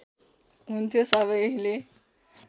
हुन्थ्यो सबैले